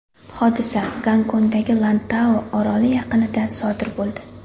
Hodisa Gongkongdagi Lantau oroli yaqinida sodir bo‘ldi.